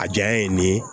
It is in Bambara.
A jaya ye nin ye